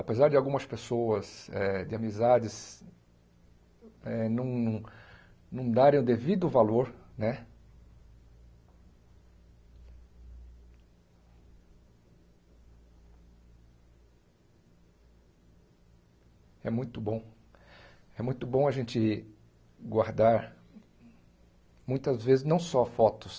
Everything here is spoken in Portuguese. Apesar de algumas pessoas, eh de amizades, não não darem o devido valor né, é muito bom é muito bom a gente guardar, muitas vezes, não só fotos,